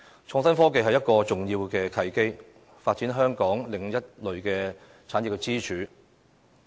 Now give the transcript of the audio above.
創新科技是一個重要的契機，發展香港另一類產業支柱。